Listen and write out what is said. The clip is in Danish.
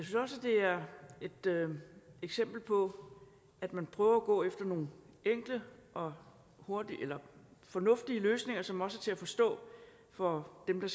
det er et eksempel på at man prøver at gå efter nogle enkle og fornuftige løsninger som også er til at forstå for dem der